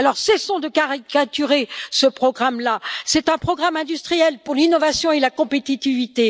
Alors cessons de caricaturer ce programme, c'est un programme industriel pour l'innovation et la compétitivité.